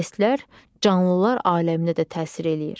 İES-lər canlılar aləminə də təsir eləyir.